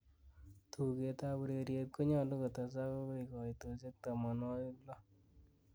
tuget ab ureryet ko ny'olu kotezak agoi koitosiek tomonwogik loo